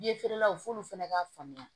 Ye feerelaw f'olu fana ka faamuya